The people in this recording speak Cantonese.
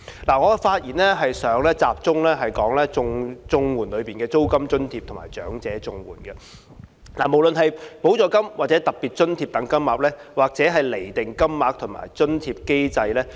我的發言會集中於綜援計劃下的租金津貼和長者綜援兩方面，無論是補助金或特別津貼的金額，或釐定金額和津貼的機制。